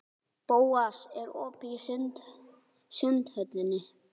Bóas, er opið í Sundhöllinni?